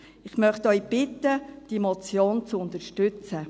Ich möchte Sie bitten, diese Motion zu unterstützen.